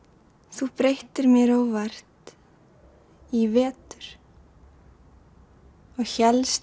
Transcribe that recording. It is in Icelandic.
þú breyttir mér óvart í vetur og hélst